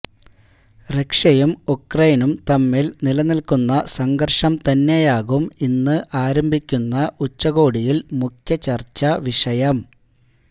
റഷ്യയും ഉക്രൈനും തമ്മില് നിലനില്ക്കുന്ന സംഘര്ഷം തന്നെയാകും ഇന്ന് ആരംഭിക്കുന്ന ഉച്ചകോടിയില് മുഖ്യചര്ച്ചാ വിഷയം